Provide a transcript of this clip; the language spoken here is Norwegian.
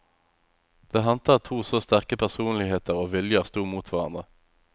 Det hendte at to så sterke personligheter og viljer stod mot hverandre.